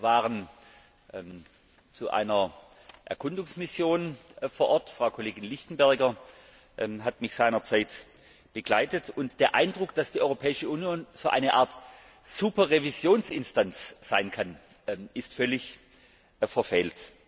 Wir waren zu einer Erkundungsmission vor Ort Frau Kollegin Lichtenberger hat mich seinerzeit begleitet und der Eindruck, dass die Europäische Union so eine Art Superrevisionsinstanz sein kann, ist völlig verfehlt.